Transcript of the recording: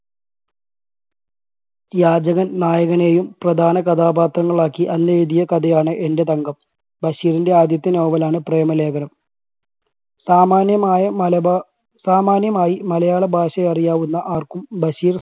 യാചകൻ നായകനെയും പ്രധാന കഥാപാത്രങ്ങളാക്കി അന്നെഴുതിയ കഥയാണ് എൻറെ തങ്കം. ബഷീറിൻറെ ആദ്യത്തെ novel ണ് പ്രേമലേഖനം. സാമാന്യമായ മലബാ സാമാന്യമായി മലയാള ഭാഷ അറിയാവുന്ന ആർക്കും ബഷീർ